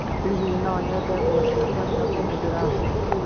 Hihi no nyende nguo ciakwa cia kũhumbĩra mbura